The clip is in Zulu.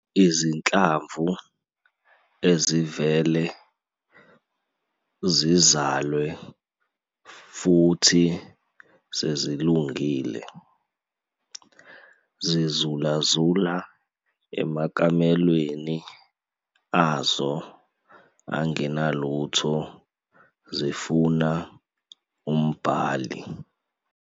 'Izinhlamvu ezivele zizalwe futhi sezilungile, zizulazula emakamelweni azo angenalutho zifuna umbhali."